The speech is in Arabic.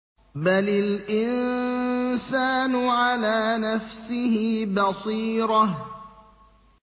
بَلِ الْإِنسَانُ عَلَىٰ نَفْسِهِ بَصِيرَةٌ